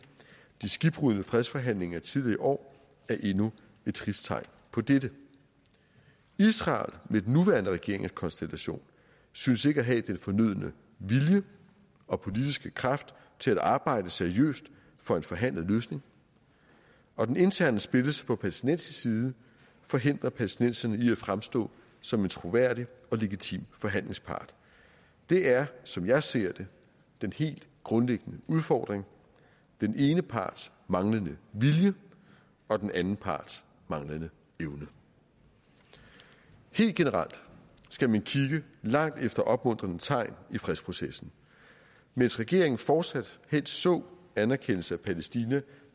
de skibbrudne fredsforhandlinger tidligere i år er endnu et trist tegn på dette israel med den nuværende regeringskonstellation synes ikke at have den fornødne vilje og politiske kraft til at arbejde seriøst for en forhandlet løsning og den interne splittelse på palæstinensisk side forhindrer palæstinenserne i at fremstå som en troværdig og legitim forhandlingspart det er som jeg ser det den helt grundlæggende udfordring den ene parts manglende vilje og den anden parts manglende evne helt generelt skal man kigge langt efter opmuntrende tegn i fredsprocessen mens regeringen fortsat helst så anerkendelse af palæstina